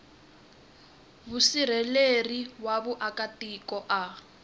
musirheleli wa vaaka tiko a